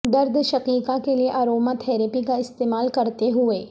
درد شقیقہ کے لئے اروما تھراپی کا استعمال کرتے ہوئے